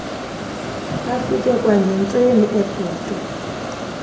afike kwangentseni ebhotwe